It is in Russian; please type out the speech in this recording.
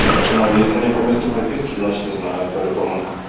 ну если не по месту прописки значит не знают по-любому